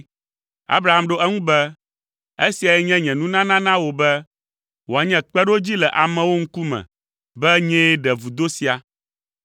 Abraham ɖo eŋu be, “Esiae nye nye nunana na wò be wòanye kpeɖodzi le amewo ŋkume be nyee ɖe vudo sia.”